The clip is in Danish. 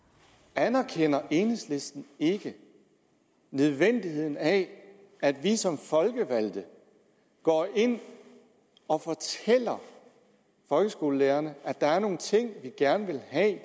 anerkender enhedslisten ikke nødvendigheden af at vi som folkevalgte går ind og fortæller folkeskolelærerne at der er nogle ting vi gerne vil have at